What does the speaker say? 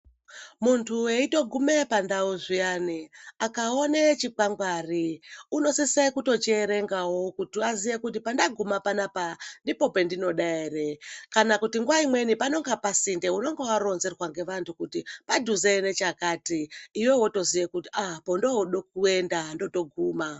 Munthu eitogume pandau zviyani, akaone chikwangwari, unotosise kutochierengawo kuti aziye kuti pandaguma panapa ndipo pendinoda ere? Kana kuti nguwa imweni panonga pasinde, unenge waronzerwa ngevanthu kuti padhuze nechakati, iwewe wotoziya kuti pondooda kuenda ndotoguma.